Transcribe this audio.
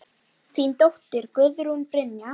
Þín dóttir, Guðrún Brynja.